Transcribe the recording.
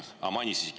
Aa, mainis.